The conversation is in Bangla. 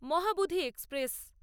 মহাবুধি এক্সপ্রেস